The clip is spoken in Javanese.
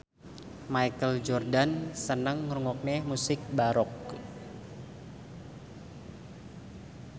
Michael Jordan seneng ngrungokne musik baroque